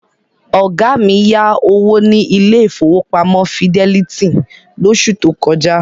Ọ̀gá mi yá owó ní ilé ìfowópamọ́ Fidelity lóṣù tó kọjá.